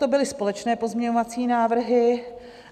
To byly společné pozměňovací návrhy.